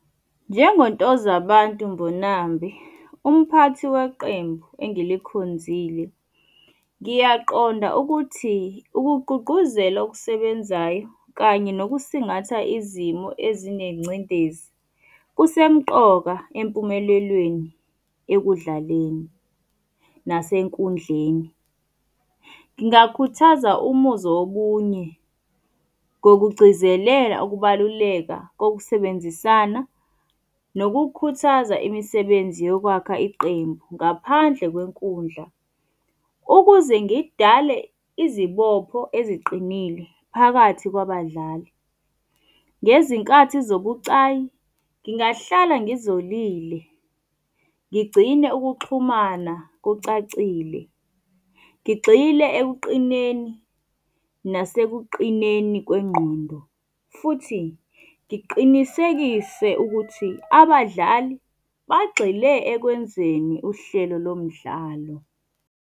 NjengoNtozabantu Mbonambi, umphathi weqembu engilikhonzile, ngiyaqonda ukuthi ukugqugquzela okusebenzayo kanye nokusingatha izimo ezinengcindezi kusemqoka empumelelweni ekudlaleni nasenkundleni. Ngingakhuthaza umuzwa wobunye ngokugcizelela ukubaluleka kokusebenzisana nokukhuthaza imisebenzi yokwakha iqembu ngaphandle kwenkundla. Ukuze ngidale izibopho eziqinile phakathi kwabadlali, ngezinkathi zobucayi ngingahlala ngizolile ngigcine ukuxhumana kucacile. Ngigxile ekuqineni nasekuqineni kwengqondo, futhi ngiqinisekise ukuthi abadlali bagxile ekwenzeni uhlelo lo mdlalo.